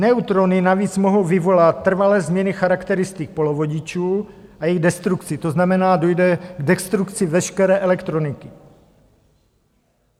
Neutrony navíc mohou vyvolat trvalé změny charakteristik polovodičů a jejich destrukci, to znamená, dojde k destrukci veškeré elektroniky.